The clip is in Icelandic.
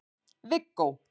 Viggó